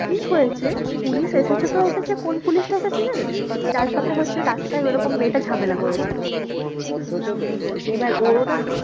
কি হয়েছে পুলিশ এসেছে তো এসেছে কোন পুলিশটা এসেছে জানিস্? যার সাথে হচ্ছে রাস্তায় ওরকম মেয়েটা ঝামেলা করেছিল তো এবার ওরা